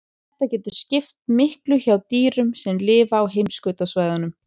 Þetta getur skipt miklu hjá dýrum sem lifa á heimskautasvæðunum.